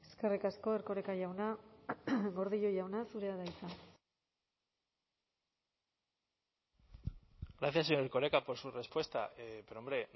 eskerrik asko erkoreka jauna gordillo jauna zurea da hitza gracias señor erkoreka por su respuesta pero hombre